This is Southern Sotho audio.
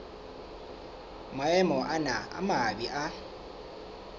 maemo ana a mabe a